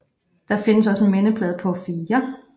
Der findes også en mindeplade på 4